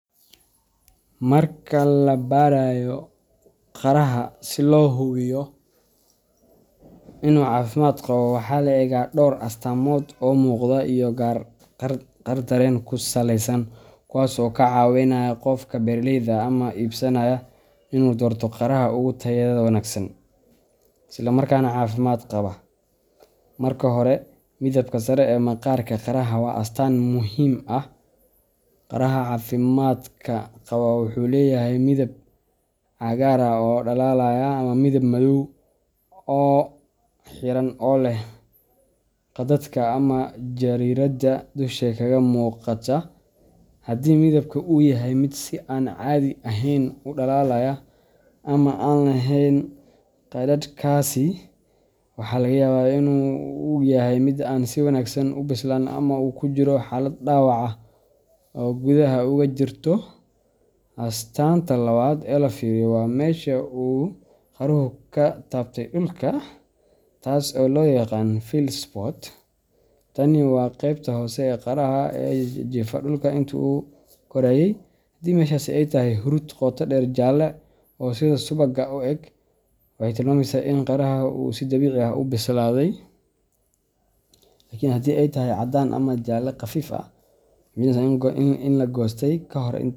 Marka la baarayo qaraha si loo hubiyo inuu caafimaad qabo, waxaa la eegaa dhowr astaamood oo muuqda iyo qaar dareen ku saleysan kuwaas oo ka caawinaya qofka beeraleyda ah ama iibsadaha in uu doorto qaraha ugu tayada wanaagsan, isla markaana caafimaad qaba. Marka hore, midabka sare ee maqaarka qaraha waa astaan muhiim ah. Qaraha caafimaadka qaba wuxuu leeyahay midab cagaar ah oo dhalaalaya ama midab madow oo xiran oo leh khadadka ama jariirada dusha kaga muuqata. Haddii midabka uu yahay mid si aan caadi ahayn u dhalaalaya ama aan lahayn khadad kaasi, waxaa laga yaabaa in uu yahay mid aan si wanaagsan u bislaan ama uu ku jiro xaalad dhaawac ah oo gudaha uga jirta. Astaanta labaad ee la fiiriyo waa meesha uu qaruhu ku taabtay dhulka, taas oo loo yaqaan field spot. Tani waa qaybta hoose ee qaraha ee la jiifa dhulka intuu korayay. Haddii meeshaasi ay tahay huruud qoto dheer jaalle ah oo sida subagga u eg, waxay tilmaamaysaa in qaraha si dabiici ah u bislaaday. Laakiin haddii ay tahay caddaan ama jaalle khafiif ah, waxay muujinaysaa in la goostay kahor.